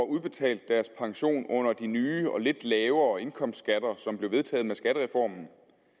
udbetalt deres pension under de nye og lidt lavere indkomstskatter som blev vedtaget med skattereformen